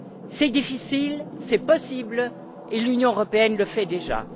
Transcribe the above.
C'est difficile, c'est possible, et l'Union européenne le fait déjà.